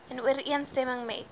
in ooreenstemming met